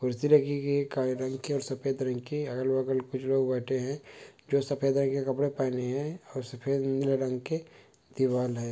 कुर्सी राखी गई हे काले रंग की और सफेद रंग की अगल बगल कुछ लोग बैठे है जो सफेद रंग के कपड़े पहने है और सफेद नीला रंग के दीवाल है।